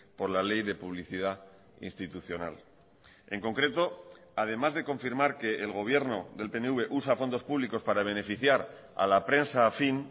por la ley de publicidad institucional en concreto además de confirmar que el gobierno del pnv usa fondos públicos para beneficiar a la prensa afín